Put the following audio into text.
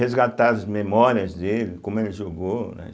resgatar as memórias dele, como ele jogou, né.